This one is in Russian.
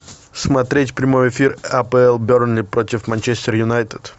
смотреть прямой эфир апл бернли против манчестер юнайтед